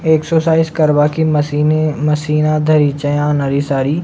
Exercise करवा की मशीने मशीना धरि छे यहाँ नरी सारी।